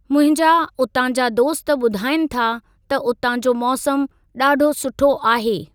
मुंहिंजा उतां जा दोस्त ॿुधाइनि था त उतां जो मौसम ॾाढो सुठो आहे।